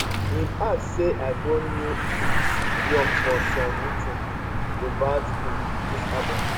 im add say i go new um york for some meeting s about um dis album